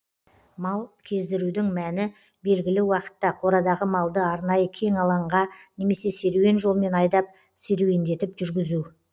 мал кездірудің мәні белгілі уақытта қорадағы малды арнайы кең алаңға немесе серуен жолмен айдап серуеңдетіп жүргізу